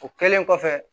O kɛlen kɔfɛ